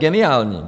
Geniální!